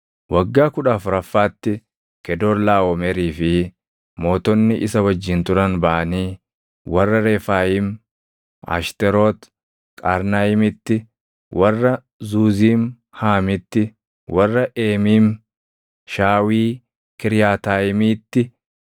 Waggaa kudha afuraffaatti Kedoorlaaʼomerii fi mootonni isa wajjin turan baʼanii warra Refaayiim Ashteroot Qaarnaayimiitti, warra Zuuziim Haamitti, warra Eemiim Shaawii Kiriyaataayimiitti,